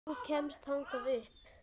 Þú kemst þangað upp.